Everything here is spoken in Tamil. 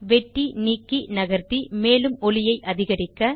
வெட்டிநீக்கிநகர்த்தி மேலும் ஒலியை அதிகரிக்க